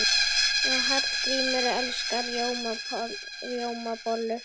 Hallgrímur elskar rjómabollur.